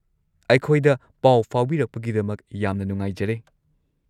ꯑꯩꯈꯣꯏꯗ ꯄꯥꯎ ꯐꯥꯎꯕꯤꯔꯛꯄꯒꯤꯗꯃꯛ ꯌꯥꯝꯅ ꯅꯨꯉꯥꯏꯖꯔꯦ꯫